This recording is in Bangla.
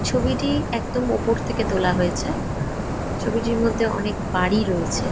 ছবিটি একদম উপর থেকে তোলা হয়েছে ছবিটির মধ্যে অনেক বাড়ি রয়েছে।